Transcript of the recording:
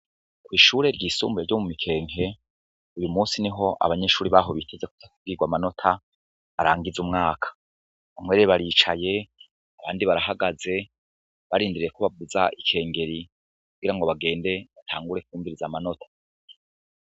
Kw'ishure ryisumbuye ryo mu Mikeke, uyu musi niho abanyeshure baho biteze kuza kubwirwa amanota arangiza umwaka. Bamwe baricaye, abandi barahagaze barindiriye ko bavuza ikengeri kugira ngo bagende batangure kumviriza amanota.